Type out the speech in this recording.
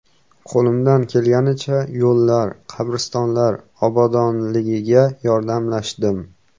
Qo‘limdan kelganicha yo‘llar, qabristonlar obodligiga yordamlashdim.